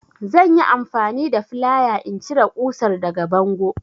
Zan yi amfani da flaya in cire ƙusar daga bango.